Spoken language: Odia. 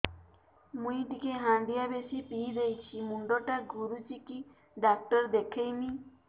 ମୁଇ ଟିକେ ହାଣ୍ଡିଆ ବେଶି ପିଇ ଦେଇଛି ମୁଣ୍ଡ ଟା ଘୁରୁଚି କି ଡାକ୍ତର ଦେଖେଇମି